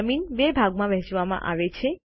જમીન બે ભાગમાં વહેંચવામાં આવે છે